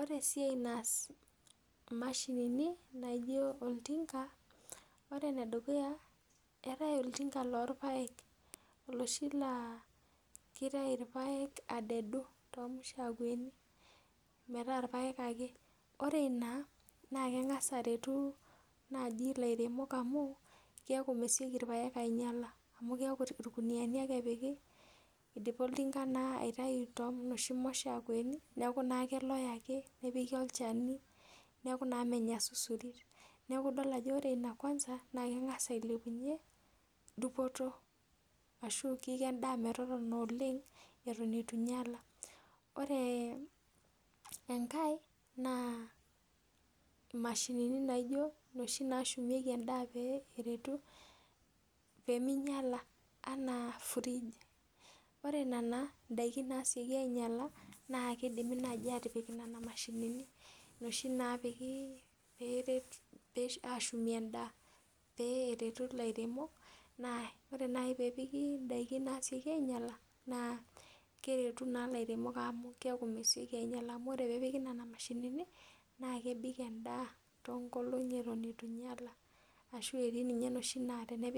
Ore essiaii naas imashinini naijo oltinka, ore enedukuya eetae oltinka loorrpaek oloshi laa kitayu irpaek adedu too mushakweni metaa irpaek ake ore ina naa kengas aretu ilairemok amuu, keeku mesioki irpaek ainyala amuu keeku irkuniani ake epiki idipa naa oltinka aitayu too noshi mushakweni neeku naa keloe ake, nepiki olshami neeku naa menya susurit, neeku idol ajo ore ina Kwanza naa keig'as ailepunye dupoto ashu kiko endaa metotona oleng eton eitu einyala, ore enkae naa mashini naijo naashumieki endaa pee eretu peemeinyala anaa fridge ore nena daiki nasioki ainyala naiki naa keidimi naaji atipik nena mashinini noshi napiki ashumi endaa pee eretu ilairemok, ore naaji peepiki indaiki nasioki ainyala naa keretu naa ilairemok amu keeku naa mesioki ainyala ore peepiki nena mashinini naa kebik endaa too nkolong'i eton eiyala ashuu etii noshi napiki naa tenenyala ninye